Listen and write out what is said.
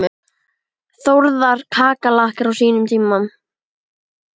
Þórðar kakala á sínum tíma.